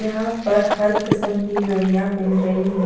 यहां पर हर किस्म की घड़ियां मिल रही है।